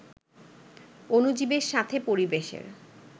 অণুজীবের সাথে পরিবেশের